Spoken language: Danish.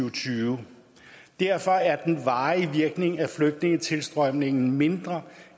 og tyve derfor er den varige virkning af flygtningetilstrømningen mindre